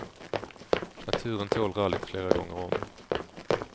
Naturen tål rallyt flera gånger om.